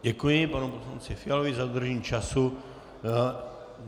Děkuji panu poslanci Fialovi za dodržení času.